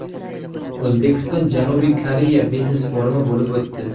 O‘zbekiston – Janubiy Koreya biznes-forumi bo‘lib o‘tdi.